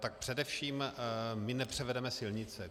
Tak především my nepřevedeme silnice.